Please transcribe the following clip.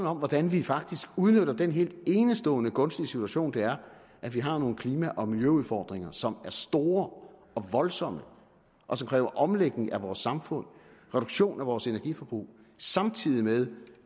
om hvordan vi faktisk udnytter den helt enestående gunstige situation det er at vi har nogle klima og miljøudfordringer som er store og voldsomme og som kræver omlægning af vores samfund og reduktion af vores energiforbrug samtidig med